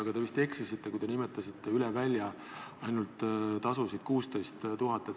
Aga te vist eksisite, kui nimetasite, et üle välja olid tasud 16 000.